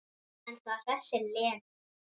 En það hressir Lenu.